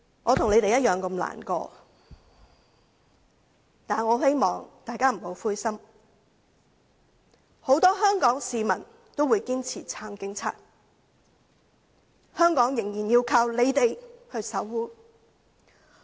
我與他們同樣感到難過，但我很希望大家不要灰心，很多香港市民均堅定地支持警員，香港仍然要靠他們守護。